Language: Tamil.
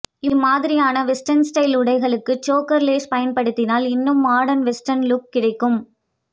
இம்மாதிரியான வெஸ்டர்ன் ஸ்டைல் உடைகளுக்கு சோக்கர் லேஸ் பயன்படுத்தினால் இன்னும் மாடர்ன் வெஸ்டர்ன் லுக் கிடைக்கும்